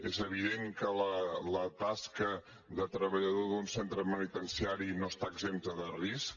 és evident que la tasca de treballador d’un centre penitenciari no està exempta de risc